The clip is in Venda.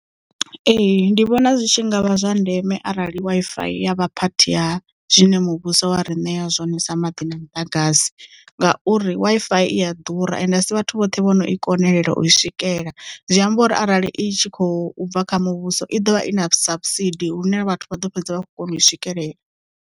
Ee ndi vhona zwitshi ngavha zwa ndeme arali Wi-Fi ya vha phathi ya zwine muvhuso wa ri ṋea zwone sa maḓi na muḓagasi ngauri Wi-Fi i a ḓura ende asi vhathu vhoṱhe vhono i konelela u i swikela zwiamba uri arali i tshi khou bva kha muvhuso i ḓovha i na sabusidi lune vhathu vha ḓo fhedza vha kho kona u i swikelela.